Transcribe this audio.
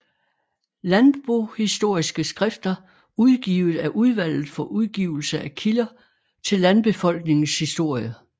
Landbohistoriske skrifter udgivet af Udvalget for Udgivelse af Kilder til Landbefolkningens Historie